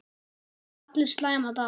Það eiga allir slæma daga.